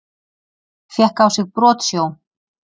Fékk á sig brotsjó